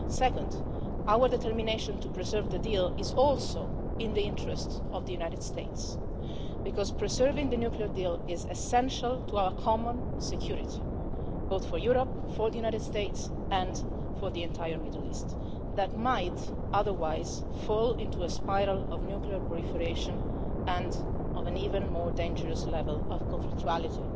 Second, our determination to preserve the deal is also in the interests of the United States, because preserving the nuclear deal is essential to our common security, both for Europe, for the United States and for the entire Middle East, which might otherwise fall into a spiral of nuclear proliferation and of an even more dangerous level of conflictuality.